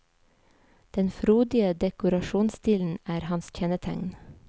Den frodige dekorasjonsstilen er hans kjennetegn.